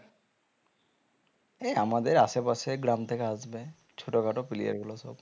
এই আমাদের আশেপাশে গ্রাম থেকে আসবে ছোটখাটো player গুলো সব